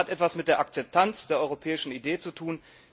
Das hat etwas mit der Akzeptanz der europäischen Idee zu tun.